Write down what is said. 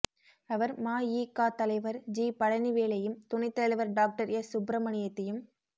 அவர் மஇகா தலைவர் ஜி பழனிவேலையும் துணைத் தலைவர் டாக்டர் எஸ் சுப்ரமணியத்தையும்